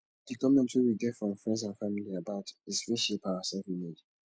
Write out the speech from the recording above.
di comment wey we get from friends and family about is fit shape our selfimage